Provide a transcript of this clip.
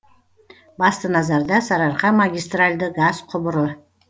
басты назарда сарыарқа магистральді газ құбыры